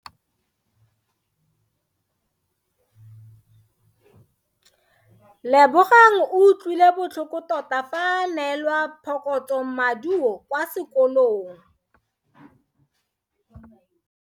Lebogang o utlwile botlhoko tota fa a neelwa phokotsomaduo kwa sekolong.